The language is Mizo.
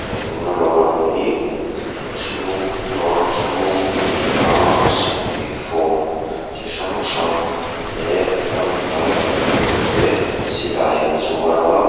e tuna lo lang hi inchhung dawr chhung a ni a sipai form chi hrang hrang leh ramhnuai kalna tur te silai an zuar a.